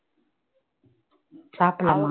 சாப்பிடலாமா